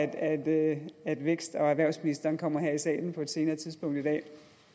at at vækst og erhvervsministeren kommer her i salen på et senere tidspunkt i dag